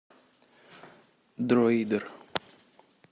дроидер